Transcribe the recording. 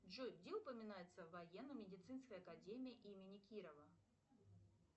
джой где упоминается военно медицинская академия имени кирова